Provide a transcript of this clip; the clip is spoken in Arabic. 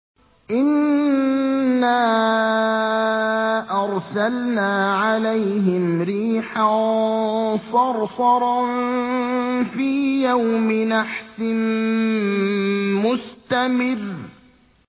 إِنَّا أَرْسَلْنَا عَلَيْهِمْ رِيحًا صَرْصَرًا فِي يَوْمِ نَحْسٍ مُّسْتَمِرٍّ